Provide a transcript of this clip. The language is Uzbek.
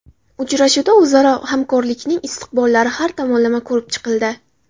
Uchrashuvda o‘zaro hamkorlikning istiqbollari har tomonlama ko‘rib chiqildi.